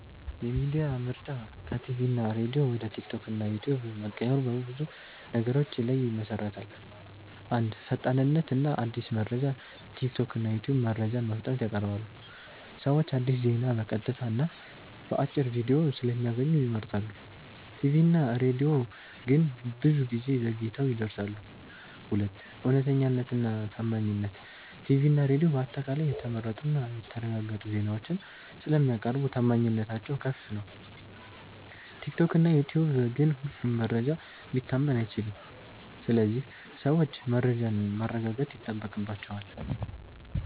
የሚዲያ ምርጫ ከቲቪ እና ሬዲዮ ወደ ቲክቶክ እና ዩትዩብ መቀየሩ በብዙ ነገሮች ላይ ይመሠረታል። 1. ፈጣንነት እና አዲስ መረጃ ቲክቶክ እና ዩትዩብ መረጃን በፍጥነት ያቀርባሉ። ሰዎች አዲስ ዜና በቀጥታ እና በአጭር ቪዲዮ ስለሚያገኙ ይመርጣሉ። ቲቪ እና ሬዲዮ ግን ብዙ ጊዜ ዘግይተው ይደርሳሉ። 2. እውነተኛነት እና ታማኝነት ቲቪ እና ሬዲዮ በአጠቃላይ የተመረጡ እና የተረጋገጡ ዜናዎችን ስለሚያቀርቡ ታማኝነታቸው ከፍ ነው። ቲክቶክ እና ዩትዩብ ግን ሁሉም መረጃ ሊታመን አይችልም ስለዚህ ሰዎች መረጃን ማረጋገጥ ይጠበቅባቸዋል።